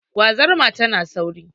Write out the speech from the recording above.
Gwazarma tana sauri.